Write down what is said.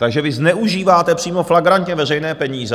Takže vy zneužíváte přímo flagrantně veřejné peníze.